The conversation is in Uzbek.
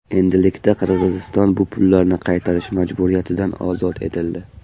Endilikda Qirg‘iziston bu pullarni qaytarish majburiyatidan ozod etildi.